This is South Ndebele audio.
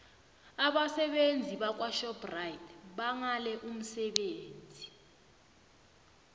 abasebenzi bakwashoprite bangale umsebenzi